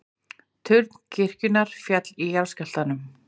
Turn kirkjunnar féll í jarðskjálftanum